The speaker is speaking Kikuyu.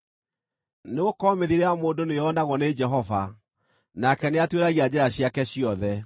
Nĩgũkorwo mĩthiĩre ya mũndũ nĩyonagwo nĩ Jehova, nake nĩatuĩragia njĩra ciake ciothe.